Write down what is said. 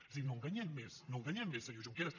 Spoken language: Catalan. és a dir no enganyem més no enganyem més senyor junqueras